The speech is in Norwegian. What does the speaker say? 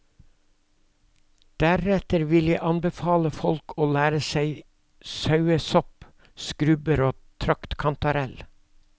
Deretter vil jeg anbefale folk å lære seg sauesopp, skrubber og traktkantarell.